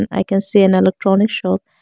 i can see an electronic shop.